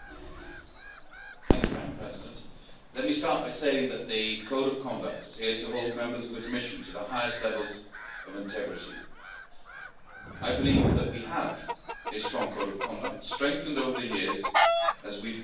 Madam President, let me start by saying that the Code of Conduct is here to hold Members of the Commission to the highest levels of integrity. I believe that we have a strong Code of Conduct, strengthened over the years as we have learned from our mistakes.